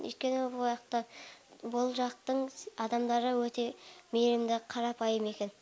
өйткені бұл жақтың адамдары өте мейірімді қарапайым екен